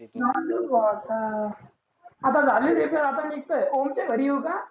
जाऊदे भो आता. आता झाली रिपेर आता निघतो ओमच्या घरी येऊ का?